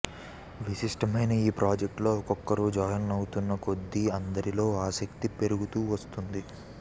విశిష్టమైన ఈ ప్రాజెక్టులో ఒక్కొక్కరూ జాయిన్ అవుతున్నా కొద్దీ అందరిలో ఆసక్తి పెరుగుతూ వస్తోంది